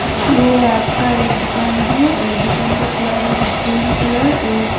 ये आपका एक दुकान है और दुकान का कलर है ग्रीन कलर उस--